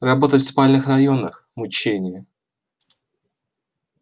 работать в спальных районах мучение